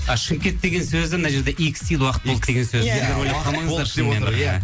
а шымкент деген сөзі мына жерде икстил уақыт болды деген сөз